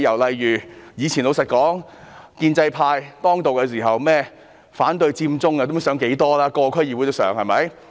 老實說，以往建制派當道，各區議會連反對佔中也不知討論了多少回。